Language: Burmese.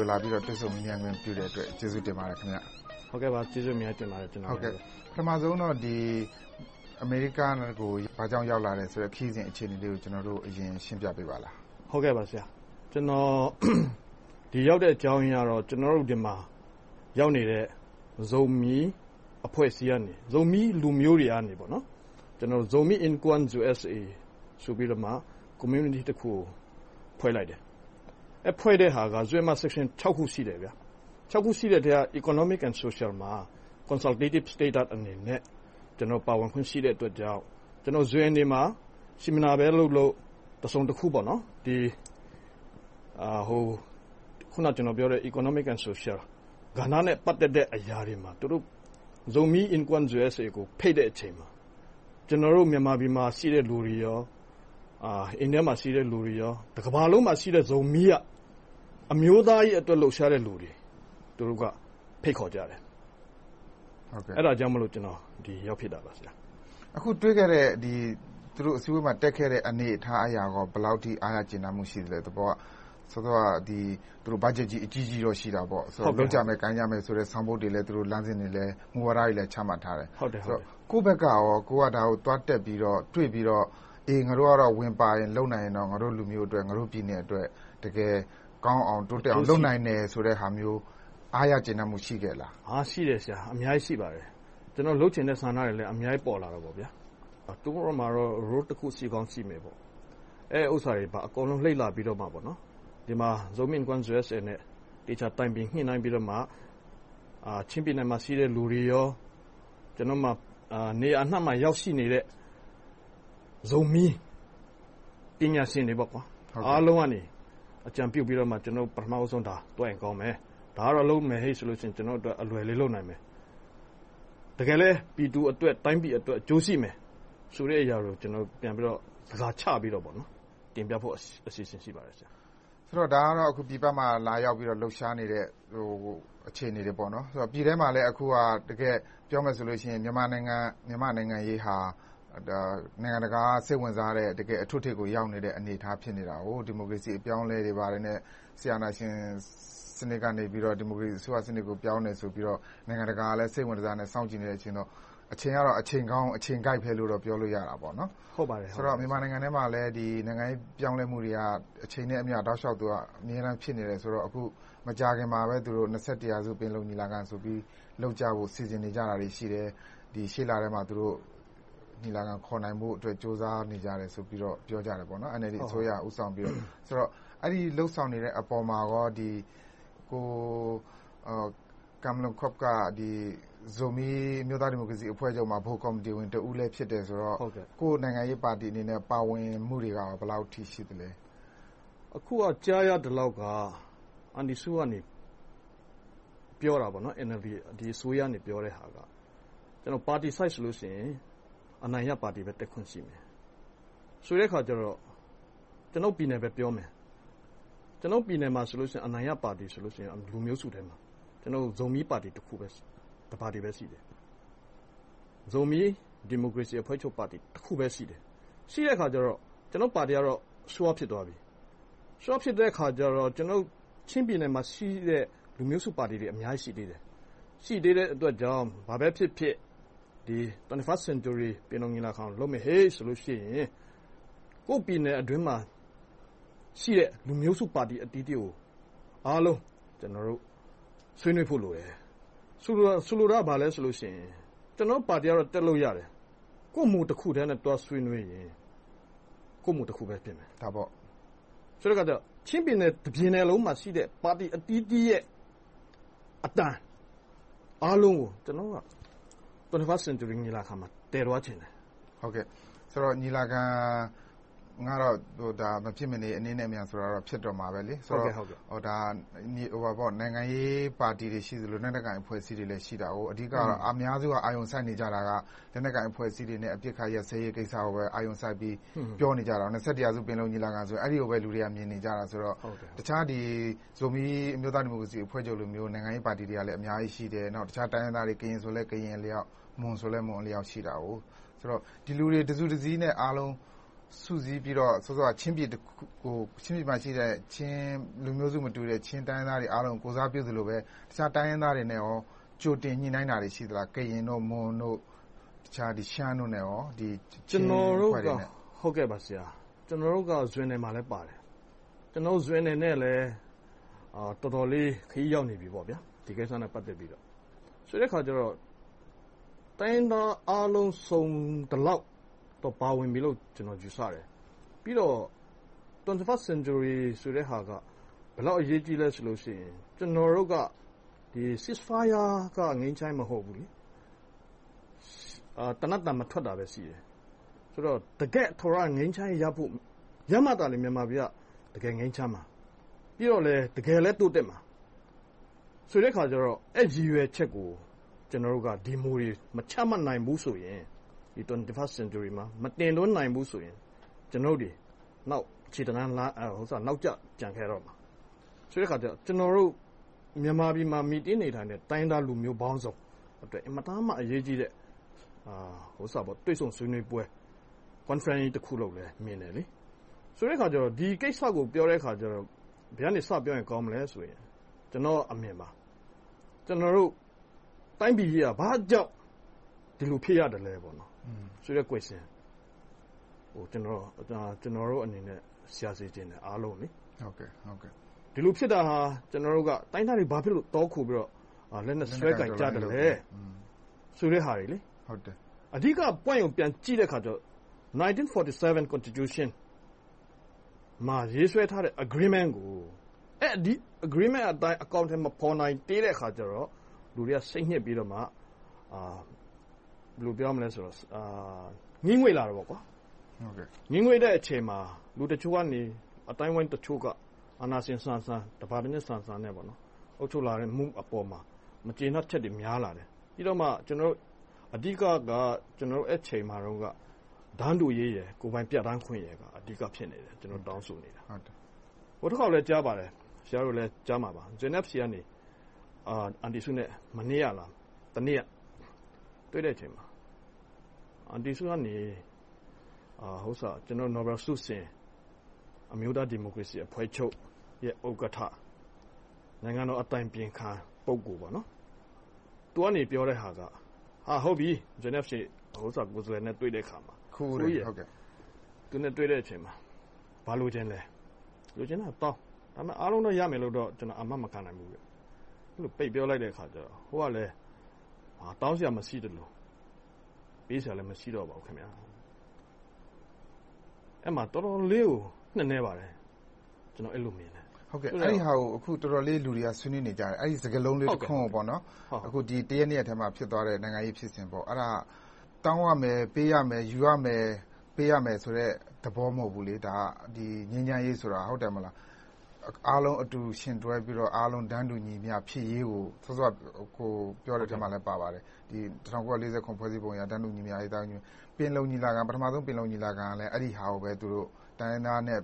ု လာပြီးတော့ တွေ့ဆုံမေးမြန်းခွင့်ပြုတဲ့အတွက် ကျေးဇူးတင်ပါတယ်။ ဟုတ်ကဲ့ပါ။ ကျေးဇူးအများကြီးတင်ပါတယ်။ ပထမဦးဆုံးတော့ အမေရိကကို ဘာကြောင့် ရောက်လာသလဲ။ ခရီးစဉ်အခြေအနေလေးကို ဦးဆုံးရှင်းပြပါလား။ ကျနော် ဒီရောက်တဲ့ အကြောင်းရင်းကတော့ ဒီမှာရောက်နေတဲ့ ဇိုမီး အဖွဲ့အစည်း၊ လူမျိုးတွေကနေ Zomi in USA Community တခုကို ဖွဲ့လိုက်တယ်။ ဖွဲ့လိုက်တဲ့ဟာ ခု ရှိတယ်။ ခု ရှိတဲ့ထဲက Economic and Social မှာ Consultative အနေနဲ့ ကျနော် ပါဝင်ခွင့်ရှိတဲ့အတွက်ကြောင့်…မှာ Seminar လုပ်လုပ်၊ တစုံတခုခု အခုနပြောတဲ့ Economic and Social ကဏ္ဍနဲ့ ပတ်သက်တဲ့အရာတွေမှာ သူတို့ Zomi in Com USA ကို ဖိတ်တဲ့အရာတွေမှာ ကျနော်တို့ မြန်မာပြည်မှာရှိတဲ့ လူတွေ၊ အိန္ဒိယမှာရှိတဲ့လူတွေ.. တကမ္ဘာလုံးမှာရှိတဲ့ ဇိုမီး က အမျိုးသားရေး လှုပ်ရှားတဲ့လူတွေကို ဖိတ်ခေါ်ကြတယ်။ အဲဒါကြောင့် ကျနော် ဒီကိုရောက်ဖြစ်တာပါ။ သူတို့ အစည်းအဝေးမှာ တွေ့ခဲ့ရတဲ့ အနေအထားအရ ဘယ်လောက်အထိ အားရကျေနပ်မှု ရှိသလဲ။ စောစောက Budget ကြီး အကြီးကြီးတော့ ရှိတာပေါ့။ လုပ်ကြမယ်၊ ကိုင်ကြမယ်ဆိုတဲ့ ဆောင်ပုဒ်တွေ၊ လမ်းစဉ်တွေ၊ မူဝါဒတွေလည်း ချမှတ်ထားတယ်။ ကိုယ့်ဖက်ကရော ဒါကို သွားတက်ပြီးတော့၊ တွေ့ပြီးတော့ ငါတို့ကတော့ ဝင်ပါရင်၊ လုပ်နိုင်ရင်တော့ ငါတို့လူမျိုးအတွက်၊ ပြည်နယ်အတွက် တကယ်ကောင်းအောင်၊ တိုးတက်အောင် လုပ်နိုင်တယ်ဆိုတဲ့ အားရကျေနပ်မှု ရှိခဲ့ရဲ့လား။ ရှိပါတယ်။ ကျနော်တို့ လုပ်ချင်တဲ့ဆန္ဒတွေလည်း အများကြီး ပေါ်လာတယ်။ သူတို့ဘက်မှာတော့ Role တခု ရှိကောင်းရှိမယ်။ အဲဒီဥစ္စာတွေမှာ လေ့လာပြီးတော့မှ ဒီမှာ Zomi in Com USA နဲ့ တိုင်ပင်ညှိနှိုင်းပြီးတော့မှ ချင်းပြည်နယ်မှာရှိတဲ့ လူတွေ၊ နေရာအနံှမှာ ရောက်ရှိနေတဲ့ ဇိုမီး ပညာရှင်တွေအားလုံးကနေ အကြံပြုပြီးတော့ ကျနော်တို့ ဒါကို ပထမဦးဆုံးသွားရင် ကောင်းမယ်။ ဒါကတော့ လုပ်မယ်ဆိုရင် ကျနော်တို့အတွက် အလွယ်လုပ်နိုင်မယ်။ တကယ်လဲ ပြည်သူအတွက်၊ တိုင်းပြည်အတွက် အကျိုးရှိမယ်ဆိုတဲ့အရာတွေကို ပြန်ပြီးတော့ ဇယားချပြီးတော့ တင်ပြဖို့ အစီအစဉ် ရှိပါတယ်။ ဒါကတော့ ပြည်ပမှာလာပြီးတော့ လှုပ်ရှားနေတဲ့ အခြေအနေတွေပေါ့။ ပြည်တွင်းမှာလည်း အခု ပြောမယ်ဆိုရင် မြန်မာနိုင်ငံ့ရေးဟာ နိုင်ငံတကာက စိတ်ဝင်စားတဲ့ အထွဋ်အထိပ်ကို ရောက်နေတဲ့ အနေအထား ဖြစ်နေတယ်။ ဒီမိုကရေစီ အပြောင်းအလဲတွေနဲ့ စစ်အာဏာရှင်စနစ်ကနေ ဒီမိုကရေစီစနစ်ကို ပြောင်းလဲတယ်ဆိုပြီးတော့ နိုင်ငံတကာက စိတ်ဝင်တစား စောင့်ကြည့်နေတဲ့ အခြေအနေဆိုတော့ အချိန်ကတော့ အချိန်ကောင်း၊ အချိန်ကိုက်လို့ ပြောလို့ရတာပေါ့။ ဆိုတော့ မြန်မာနိုင်ငံအတွင်းမှာလည်း နိုင်ငံရေးပြောင်းလဲမှုတွေက အချိန်နဲ့အမျှ တောက်လျှောက်အမြဲတမ်း ဖြစ်နေတယ်ဆိုတော့ အခု မကြာခင်မှာပဲ ရာစု ပင်လုံညီလာခံဆိုပြီး လုပ်ကြဖို့ စီစဉ်နေကြတာတွေ ရှိတယ်။ ရှေ့လထဲမှာ ညီလာခံခေါ်နိုင်ဖို့ ကြိုးစားနေကြတယ်လို့ ပြောကြတယ်။ NLD အစိုးရက ဦးဆောင်ပြီ။ အဲဒီ လုပ်ဆောင်နေတဲ့အပေါ်မှာ ပူကမ်လမ်ခုပ်က ဇိုမီး အမျိုးသားဒီမိုကရေစီအဖွဲ့ချုပ်မှာ ဗဟိုကော်မတီဝင်တဦးလည်းဖြစ်တော့ ကိုယ့်နိုင်ငံရေးပါတီအနေနဲ့ ပါဝင်မှုတွေက ဘယ်လောက်အထိ ရှိသလဲ။ အခုက ကြားရသလောက်က အန်တီစု က ပြောတဲ့ဟာ၊ ဒီအစိုးရက ပြောတာက Party Side ဆိုရင် အနိုင်ရပါတီပဲ တက်ခွင့်ရှိမယ်ဆိုတဲ့အခါကြတော့ ကျနော်တို့ ပြည်နယ်ပဲပြောမယ်။ ကျနော်တို့ပြည်နယ်မှာဆိုရင် အနိုင်ရပါတီ၊ လူမျိုးစုထဲမှာဆိုရင် ကျနော်တို့ ဇိုမီး ပါတီ တခုပဲ ရှိတယ်။ ဇိုမီး ဒီမိုကရေစီအဖွဲ့ချုပ်ပါတီ တခုတည်းပဲ ရှိတယ်။ ရှိတဲ့အခါကြတော့ ကျနော်တို့ပါတီကတော့ Sure ဖြစ်သွားပြီ။ Sure ဖြစ်တဲ့အခါကြတော့ ချင်းပြည်နယ်မှာရှိတဲ့ လူမျိုးစုပါတီတွေ အများကြီး ရှိသေးတယ်။ ရှိသေးတဲ့အတွက်ကြောင့် ဘာပဲဖြစ်ဖြစ် 21st Century ပင်လုံညီလာခံကို လုပ်မယ်ဆိုရင် ကိုယ့်ပြည်နယ်အတွင်းမှာရှိတဲ့ လူမျိုးစုပါတီအသီးသီးကို အားလုံး ဆွေးနွေးဖို့လိုတယ်။ ဆိုလိုတာက ဘာလဲဆိုရင် ကျနော်တို့ပါတီကတော့ တက်လို့ရတယ်။ ကိုယ့်မူတခုတည်းနဲ့ သွားဆွေးနွေးရင် ကိုယ့်မူတခုပဲ ဖြစ်နေမယ်။ ဆိုတဲ့အခါကြတော့ ချင်းပြည်နယ် တပြည်နယ်ထဲမှာရှိတဲ့ ပါတီအသီးသီးရဲ့ အသံအားလုံးကို ကျနော်တို့က ရာစု ညီလာခံမှာ သယ်သွားချင်တယ်။ ညီလာခံကတော့ မဖြစ်မနေ၊ အနှေးနဲ့အမြန်တော့ ဖြစ်တော့မှာ။ ဆိုတော့ နိုင်ငံရေးပါတီတွေ ရှိသလို၊ နောက်တခါ လက်နက်ကိုင်အဖွဲ့အစည်းတွေ ရှိတယ်။ အဓိက အများစုက အာရုံစိုက်နေကြတာက လက်နက်ကိုင်အဖွဲ့အစည်းတွေနဲ့ အပစ်ခတ်ရပ်စဲရေးကိစ္စကို အာရုံစိုက်ပြီး ပြောနေကြတာ။ ရာစု ပင်လုံညီလာခံဆိုရင် အဲဒီကိုပဲ လူတွေက မြင်နေကြတော့ တခြား ဇူးမီအမျိုးသားဒီမိုကရေစီအဖွဲ့ချုပ်လိုမျိုး နိုင်ငံရေးပါတီတွေကလည်း အများကြီးရှိတယ်။ တခြား တိုင်းရင်းသားတွေ။ ကရင်ဆိုလဲ ကရင်အလျောက်၊ မွန်ဆိုလဲ မွန်အလျောက်။ ဒီလူတွေ တစုတစည်းနဲ့ အားလုံးကို စုစည်းပြီးတော့ ဥပမာ ချင်းပြည်နယ်မှာရှိတဲ့ လူမျိုးစုမတူတဲ့ ချင်းတိုင်းရင်းသားတွေကို ကိုယ်စားပြုသလိုပဲ တခြားတိုင်းရင်းသားတွေနဲ့ ကြိုတင်ညှိနှိုင်းတာတွေ ရှိသလား။ ကရင်၊ မွန်၊ ရှမ်းတို့နဲ့… ကျနော်တို့က… လည်း ပါတယ်။… နဲ့လည်း တော်တော်လေး ခရီးရောက်နေပြီ။ ဒီကိစ္စနဲ့ ပတ်သက်ပြီးတော့။ ဆိုတဲ့အခါကြတော့ တိုင်းရင်းသားအားလုံး စုံသလောက် ပါဝင်ပြီလို့ ကျနော်တို့ ယူဆတယ်။ ပြီးတော့ ရာစု ဆိုတဲ့ဟာက ဘယ်လောက်အရေးကြီးသလဲဆိုရင် ကျနော်တို့က Ceasefire က ငြိမ်းချမ်းရေး မဟုတ်ဘူး။ သေနတ်သံ မထွက်တာဘဲရှိတယ်။ တကယ့် ငြိမ်းချမ်းရေးရဖို့.. ရမှသာ မြန်မာပြည်က တကယ် ငြိမ်းချမ်းမှာ။ ပြီးတော့ တကယ်လဲ တိုးတက်မှာ။ ဆိုတဲ့အခါကြတော့ အဲဒီ ရည်ရွယ်ချက်ကို ကျနော်တို့က ဒီမူတွေ မချမှတ်နိုင်ဘူးဆိုရင် ရာစု ညီလာခံမှာ မတင်သွင်းနိုင်ဘူးဆိုရင် ကျနော်တို့ ခြေတလှမ်းနောက်ကျ ကျန်ခဲ့မှာ။ ဆိုတော့ ကျနော်တို့ မြန်မာပြည်မှာ မှီတင်းနေထိုင်တဲ့ တိုင်းရင်းသားလူမျိုးပေါင်းစုံအတွက် အင်မတန်မှ အရေးကြီးတဲ့ တွေ့ဆုံဆွေးနွေးပွဲ Conference တခုလို့ မြင်တယ်။ ဆိုတဲ့အခါကြတော့ ဒီကိစ္စကို ပြောတဲ့အခါကြတော့ ဘယ်ကနေ စပြောမလဲဆိုရင် ကျနော့်အမြင်မှာ တိုင်းပြည်ကြီးက ဘာကြောင့် ဒီလိုဖြစ်ရသလဲဆိုတဲ့ Question ကို ကျနော်တို့အနေနဲ့ အားလုံးကို ရှာစေချင်တယ်။ ဒီလိုဖြစ်တာဟာ တိုင်းရင်းသားတွေ ဘာကြောင့် တောခိုပြီးတော့ လက်နက်စွဲကိုင်ကြသလဲဆိုတဲ့ဟာတွေ။ အဓိက Point ကို ပြန်ကြည့်တဲ့အခါကြတော့ 1947 Constitution မှာ ရေးဆွဲထားတဲ့ Agreement ကို ဒီ Agreement အတိုင်း အကောင်အထည် မဖော်နိုင်သေးတဲ့အခါကြတော့ လူတွေက စိတ်ညစ်ပြီးတော့၊ ငြီးငွေ့လာတာပေါ့။ ငြီးငွေ့တဲ့အချိန်မှာ လူတချို့ကနေ၊ အသိုင်းအဝိုင်းတချို့က အာဏာရှင်ဆန်ဆန်၊ တပါတီအုပ်ချုပ်လာမှုအပေါ်မှာ မကျေနပ်ချက်တွေ များလာတယ်။ ပြီးတော့မှ ကျနော်တို့ အဓိကက အဲဒီအချိန်မှာ တန်တူရေး၊ ကိုယ်ပိုင်ပြဌာန်းခွင့်က အဓိက ဖြစ်နေတယ်။ ကျနော်တို့ တောင်းဆိုနေတာ။ ဆရာတို့လည်း ကြားမှာပါ.. JMFC ကနေ အန်တီစုနဲ့ တွေ့တဲ့အချိန်မှာ အန်တီစုကနေ နိုဘယ်ဆုရှင် အမျိုးသားဒီမိုကရေစီအဖွဲ့ချုပ် ဥက္ကဋ္ဌ၊ နိုင်ငံတော်အတိုင်ပင်ခံ ပုဂ==== သူကနေ ပြောတဲ့ဟာက ‘ဟုတ်ပြီ၊ JMFC ကိုယ်စားလှယ်နဲ့ တွေ့တဲ့အခါမှာ ဘာလိုချင်လဲ။ လိုချင်တဲ့ဟာတောင်း။ ဒါပေမဲ့ အားလုံးတော့ ရမယ်ဆိုတာကို ကျမ အာမမခံနိုင်ဘူးလို့ ပိတ်ပြောလိုက်တဲ့အခါကြတော့.. ဟိုကလဲ တောင်းစရာ မရှိသလို၊ ပေးစရာလည်း မရှိတော့ပါဘူး။ အဲဒါ တော်တော်လေးကို နက်နဲပါတယ်။ အဲဒီလို မြင်တယ်။ အဲဒါကို လူတွေက တော်တော်လေး ဆွေးနွေးနေကြတယ်။ အဲဒီ စကားလုံး တခွန်ကို ဒီတရက်နှစ်ရက်အတွင်းမှာ ဖြစ်သွားတဲ့ နိုင်ငံရေးဖြစ်စဉ်။ တောင်းရမယ်၊ ပေးရမယ်၊ ယူရမယ်၊ ပေးရမယ် သဘော မဟုတ်ဘူး။ ငြိမ်းချမ်းရေးဆိုတာ။ အားလုံးအတူတူ ယှဉ်တွဲပြီးတော့၊ အားလုံး တန်းတူညီမျှ ဖြစ်ရေးကို စောစောက အကိုပြောတဲ့အထဲမှာလည်း ပါပါတယ်။ ၁၉၄၇ ဖွဲ့စည်းပုံအရ တန်းတူညီမျှရေး - ပထမဦးဆုံး ပင်လုံညီလာခံက အဲဒီဟာကို တိုင်းရင်းသားနဲ့